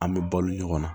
An bɛ balo ɲɔgɔn na